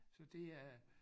Så det er